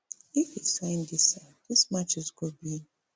if e sign dis sign dis matches go be